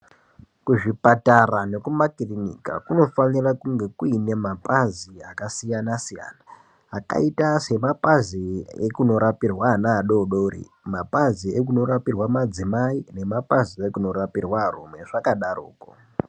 Kuzvipatara nekumakiriniki kunofanira kunge kune mapazi akasiyana siyana anoita semapazi evana vadodori mapazi ekuno rapirwa madzimai nemapazi ekuno rapirwa arumbe zvakadaroko.